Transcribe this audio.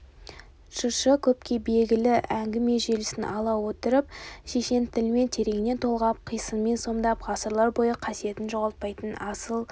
жыршы көпке белгілі әңгіме желісін ала отырып шешен тілмен тереңнен толғап қисынмен сомдап ғасырлар бойы қасиетін жоғалтпайтын асыл